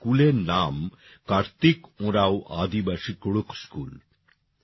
এই স্কুলের নাম কার্তিক ওরাঁও আদিবাসী কুড়ুখ স্কুল